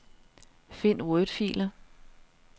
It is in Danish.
Find wordfiler.